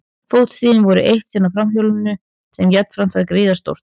Fótstigin voru eitt sinn á framhjólinu sem jafnframt var gríðarstórt.